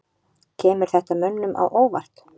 Kemur þetta mönnum á óvart?